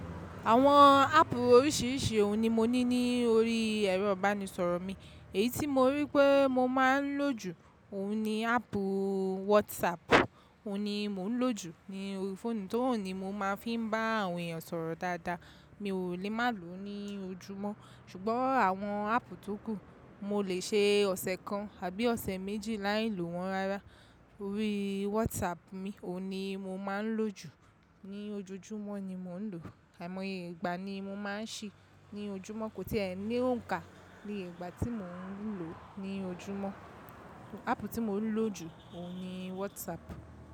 Àwọn áàpù oríṣiríṣi òun ni mo ní ní orí ẹ̀rọ ìbánisọ̀rọ̀ mi. Èyí tí mo ríi pé mo máa ń lò jù, òun ni áàpù WhatsApp. Òun ni mò ń lò jù ní orí fóònù, tori ohùn ni mo máa fi ń bá àwọn èèyàn sọ̀rọ̀ dáadáa. Mi ò lè má lòó ní ojúmọ́. Ṣùgbọ́n àwọn áàpù tókù, mo lè ṣe ọ̀sẹ̀ kan àbí ọ̀sẹ̀ méjì láì lò wọ́n rárá. Orí WhatsApp mi, òun ni mo máa ń lò jù. Ni ojojúmọ́ ni mò ń lò, àìmọye ìgbà ni mo máa ń ṣí ní ojúmọ́, kò tí èí ní òǹkà ní ìgbà tí mò ń lò ó ní ojúmọ́. Áàpù tí mo ń lò jù, òun ni WhatsApp.